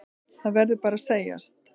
Það verður bara að segjast.